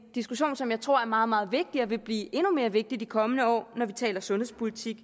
diskussion som jeg tror er meget meget vigtig og vil blive endnu mere vigtig i de kommende år når vi taler sundhedspolitik